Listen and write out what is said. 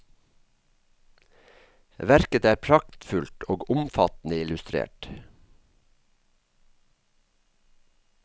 Verket er praktfullt og omfattende illustrert.